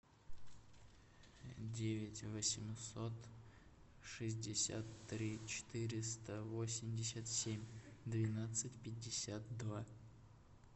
девять восемьсот шестьдесят три четыреста восемьдесят семь двенадцать пятьдесят два